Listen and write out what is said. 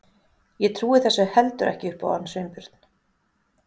Ég trúi þessu heldur ekki upp á hann Sveinbjörn.